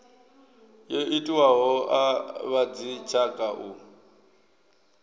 yo itiwaho a vhadzitshaka u